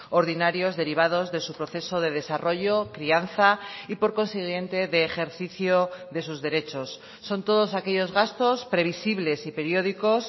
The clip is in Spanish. ordinarios derivados de su proceso de desarrollo crianza y por consiguiente de ejercicio de sus derechos son todos aquellos gastos previsibles y periódicos